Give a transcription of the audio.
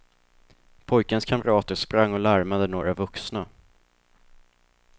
Pojkens kamrater sprang och larmade några vuxna.